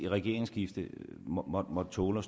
regeringsskifte måtte tåle